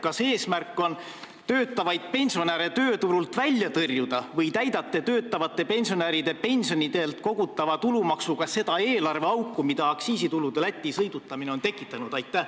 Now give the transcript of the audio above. Kas eesmärk on töötavaid pensionäre tööturult välja tõrjuda või täidate töötavate pensionäride sissetulekult kogutava tulumaksuga seda eelarveauku, mis aktsiisitulude Lätti sõidutamine on tekitanud?